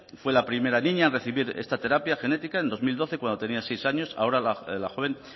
fue la primera niña en recibir esta terapia genética en dos mil doce cuando tenía seis años ahora la joven